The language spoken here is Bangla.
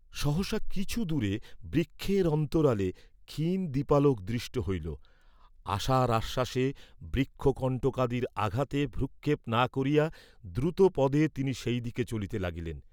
সহসা কিছু দূরে বৃক্ষের অন্তরালে ক্ষীণদীপালোক দৃষ্ট হইল, আশার আশ্বাসে বৃক্ষ কণ্টকাদির আঘাতে ভ্রূক্ষেপ না করিয়া, দ্রুতপদে তিনি সেই দিকে চলিতে লাগিলেন।